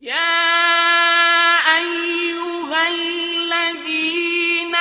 يَا أَيُّهَا الَّذِينَ